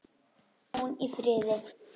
Hvíli hún í friði.